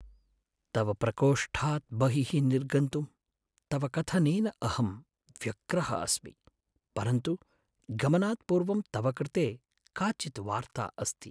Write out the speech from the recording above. तव प्रकोष्ठात् बहिः निर्गन्तुं तव कथनेन अहं व्यग्रः अस्मि, परन्तु गमनात् पूर्वं तव कृते काचित् वार्ता अस्ति।